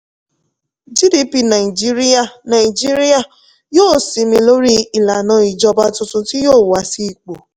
gdp nàìjíríà nàìjíríà yóò sinmi lórí ìlànà ìjọba tuntun tí yóò wá sí ipò.